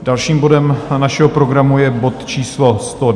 Dalším bodem našeho programu je bod číslo